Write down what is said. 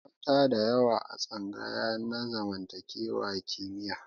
Akwai mata da yawa a tsangaya na zamantakewa kimiyya.